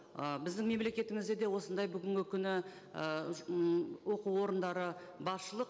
ы біздің мемлекетімізде де осындай бүгінгі күні ы оқу орындары басшылық